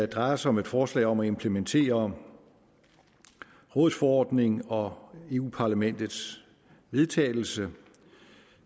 drejer sig om et forslag om at implementere rådets forordning og europa parlamentets vedtagelse